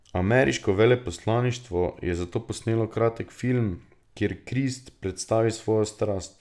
Ameriško veleposlaništvo je zato posnelo kratek film, kjer Krist predstavi svojo strast.